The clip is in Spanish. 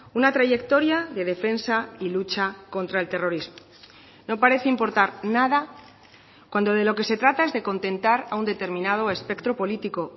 una trayectoria de defensa y lucha contra el terrorismo no parece importar nada cuando de lo que se trata es de contentar a un determinado espectro político